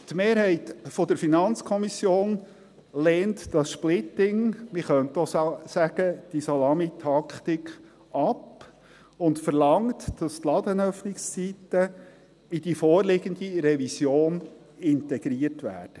Die Mehrheit der FiKo lehnt dieses Splitting – man könnte auch Salamitaktik dazu sagen – ab und verlangt, dass die Ladenöffnungszeiten in die vorliegende Revision integriert werden.